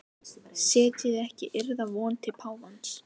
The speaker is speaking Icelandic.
Setjið ekki yðar von til páfans.